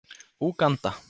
Úganda